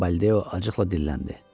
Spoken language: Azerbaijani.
deyə Baldeo acıqla dilləndi.